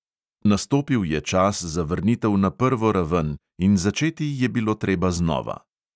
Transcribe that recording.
Nastopil je čas za vrnitev na prvo raven in začeti je bilo treba znova.